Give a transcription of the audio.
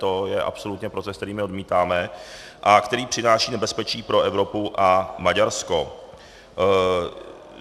To je absolutně proces, který my odmítáme a který přináší nebezpečí pro Evropu a Maďarsko.